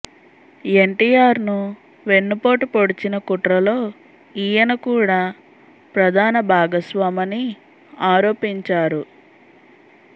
ఎన్టీఆర్ ను వెన్నుపోటు పొడిచిన కుట్రలో ఈయన కూడా ప్రధాన భాగస్వామని ఆరోపించారు